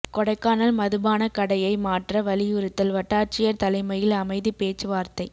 கொடைக்கானல் மதுபானக் கடையை மாற்ற வலியுறுத்தல் வட்டாட்சியா் தலைமையில் அமைதி பேச்சு வாா்த்தை